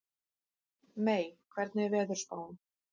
Mey, hvernig er veðurspáin?